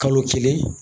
Kalo kelen